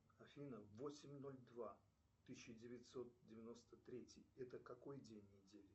афина восемь ноль два тысяча девятьсот девяносто третий это какой день недели